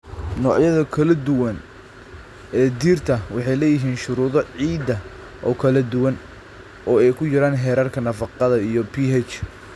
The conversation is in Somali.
Noocyada kala duwan ee dhirta waxay leeyihiin shuruudo ciidda oo kala duwan, oo ay ku jiraan heerarka nafaqada iyo pH.